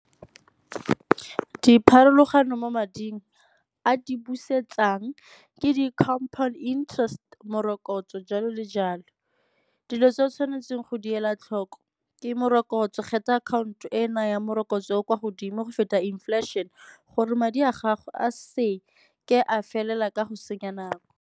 Dipharologano mo mading a di busetsang ke di-compound interest, morokotso jalo le jalo. Dilo tse o tshwanetseng go di ela tlhoko ke morokotso, kgetha akhaonto e e nayang morokotso o o kwa godimo go feta inflation gore madi a gago a se ke a felela ka go senya nako.